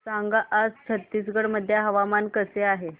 सांगा आज छत्तीसगड मध्ये हवामान कसे आहे